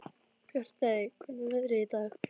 Bjartey, hvernig er veðrið í dag?